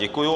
Děkuji.